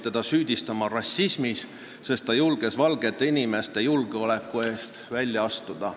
Teda asuti süüdistama rassismis, sest ta julges valgete inimeste julgeoleku eest välja astuda.